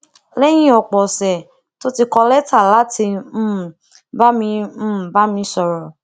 léyìn òpò òsè tó ti kọ láti um bá mi um bá mi sọrọ